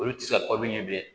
Olu tɛ se ka kɔ min ɲɛ bilen